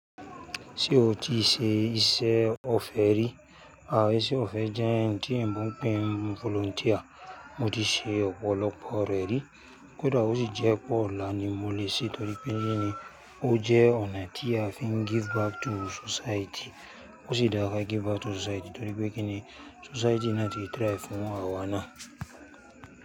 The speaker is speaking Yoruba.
Ṣé o ti ṣe iṣẹ́ ọfẹ rí àbí ṣe ọfẹ jẹ́ ohun tí oyinbọ n pé volunteer mo ti ṣe ọ̀pọ̀lọpọ̀ rẹ́ rí. Kódà ó sì jẹ́ pọ̀ láti mú ó lè ṣe torí pé kíni ó jẹ́ ọ̀nà tí a fi ń give back to society. Ó sì dára ká give back to society torí pé kíni society náà ti try fún àwa náà.